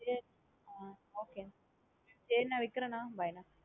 சேரி ஆ okay சரி நா வைக்கிறேன் நா bye நா.